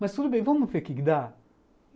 Mas tudo bem, vamos ver o que dá.